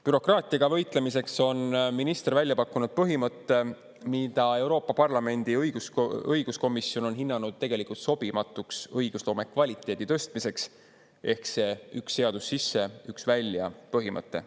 Bürokraatiaga võitlemiseks on minister välja pakkunud põhimõtte, mida Euroopa Parlamendi õiguskomisjon on hinnanud õigusloome kvaliteedi tõstmiseks sobimatuks – ehk see "üks seadus sisse, üks välja" põhimõte.